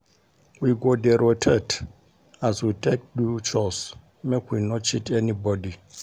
We go dey rotate as we dey take do chores make we no cheat anybodi.